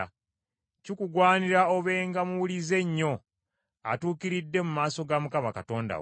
Kikugwanira obenga muwulize nnyo, atuukiridde mu maaso ga Mukama Katonda wo.